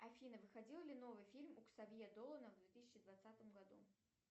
афина выходил ли новый фильм у ксавье долана в две тысячи двадцатом году